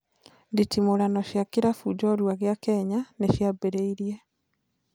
Nditimũrano cia kĩrabu njorua gĩa Kenya nĩ ciambĩrĩirie